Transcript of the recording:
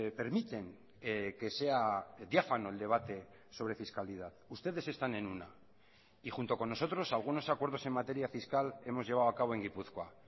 permiten que sea diáfano el debate sobre fiscalidad ustedes están en una y junto con nosotros algunos acuerdos en materia fiscal hemos llevado a cabo en gipuzkoa